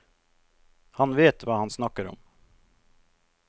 Han vet hva han snakker om.